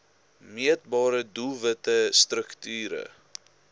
meetbare doelwitte strukture